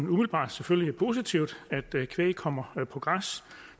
umiddelbart selvfølgelig er positivt at kvæg kommer på græs